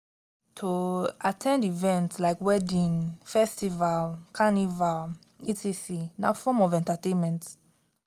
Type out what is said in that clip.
to at ten d events like weddings festivals carnival etc na form of entertainment